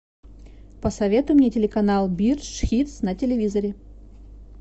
посоветуй мне телеканал бирдж хитс на телевизоре